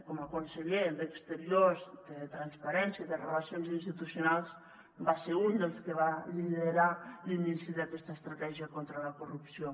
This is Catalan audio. com a conseller d’exteriors de transparència i relacions institucionals va ser un dels que va liderar l’inici d’aquesta estratègia contra la corrupció